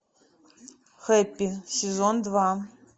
хэппи сезон два